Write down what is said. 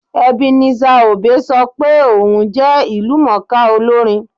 Ebenezer Obey sọ pé òun jẹ ìlúmọ̀ọ́ká olórin